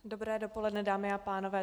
Dobré dopoledne, dámy a pánové.